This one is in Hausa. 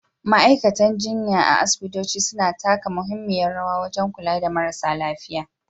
Ma'aikatan jinya a asibitoci suna taka muhimmiyar rawa wajen kula da marasa lafiya.